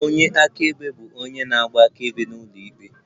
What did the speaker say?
Onye akaebe bụ onye na-agba akaebe n'ụlọikpe